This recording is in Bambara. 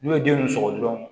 N'u ye den ninnu sogo dɔrɔn